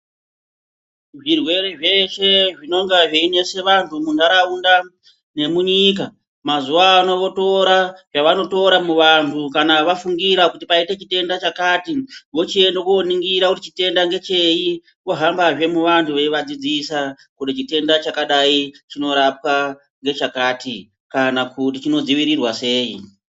Zvirwere zvese zvinonga zviyinesa anhu muntaraunda nemunyika mazuvaano votora yavanotora muvanhu kana vafungira kuti paita chitenda chakati vochienda koningira kuti chitenda ndecheyi, vohamba zvemuvhanhu veyivadzidzisa kuti chitenda chakadai chinorapwa ngechakati kana kuti chinodzivirirwa seyi.